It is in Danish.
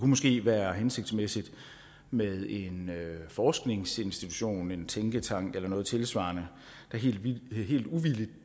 måske være hensigtsmæssigt med en forskningsinstitution en tænketank eller noget tilsvarende der helt uvildigt